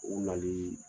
U nali